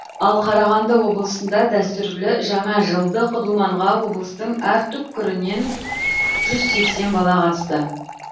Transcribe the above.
ал қарағанды облысында дәстүрлі жаңажылдық думанға облыстың әр түпкірінен жүз сексен бала қатысты